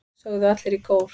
sögðu allir í kór.